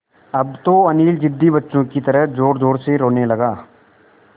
अब तो अनिल ज़िद्दी बच्चों की तरह ज़ोरज़ोर से रोने लगा